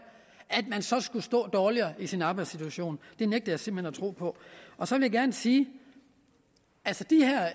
altså at man skulle stå dårligere i sin arbejdssituation det nægter jeg simpelt hen at tro på så vil jeg sige